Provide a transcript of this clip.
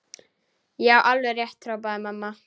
Já, alveg rétt hrópaði mamma.